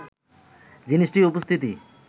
জিনিসটির উপস্থিতি